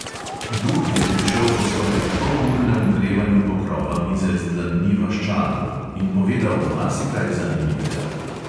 Duh je prišel po skoraj polurnem ogrevanju pokrova mize z dlanmi vaščanov in povedal marsikaj zanimivega.